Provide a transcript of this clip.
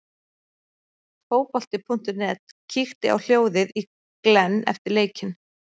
Fótbolti.net kíkti á hljóðið í Glenn eftir leikinn.